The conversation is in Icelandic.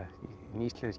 hinn íslenski